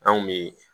An kun be